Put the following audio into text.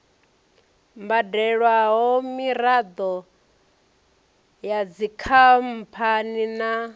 badelwaho miraḓo ya dzikhamphani na